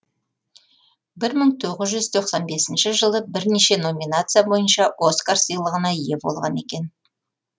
бір мың тоғыз жүз тоқсан бесінші жылы бірнеше номинация бойынша оскар сыйлығына ие болған екен